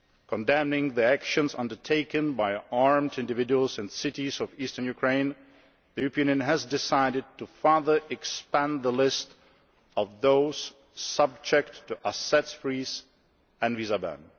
Condemning the actions undertaken by armed individuals in cities of Eastern Ukraine, the European Union has decided to further expand the list of those subject to asset freezes and visa bans.